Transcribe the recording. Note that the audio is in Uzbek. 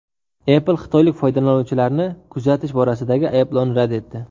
Apple xitoylik foydalanuvchilarni kuzatish borasidagi ayblovni rad etdi.